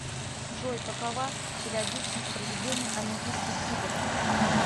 джой какова периодичность проведения олимпийских игр